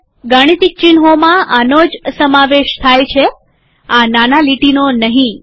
ગાણિતિક ચિહ્નોમાં આનો જ સમાવેશ થાય છેઆ નાની લીટીનો નહીં